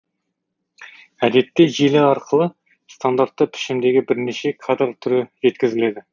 әдетте желі арқылы стандартты пішімдегі бірнеше кадр түрі жеткізіледі